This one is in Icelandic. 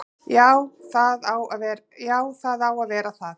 Jú, það á að vera það.